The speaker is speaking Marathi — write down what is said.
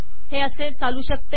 हे असे चालू शकते